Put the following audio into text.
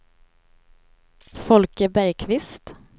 Folke Bergqvist